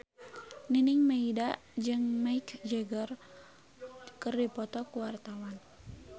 Nining Meida jeung Mick Jagger keur dipoto ku wartawan